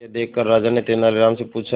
यह देखकर राजा ने तेनालीराम से पूछा